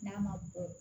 N'a ma bɔ